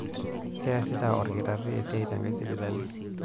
Keasita olkitari esiai tenkae sipitali.